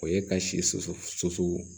O ye ka si so soso soso